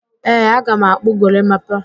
Ee, aga m akpụ gorimapa